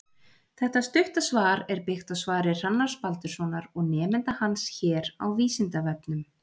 Þetta stutta svar er byggt á svari Hrannars Baldurssonar og nemenda hans hér á Vísindavefnum.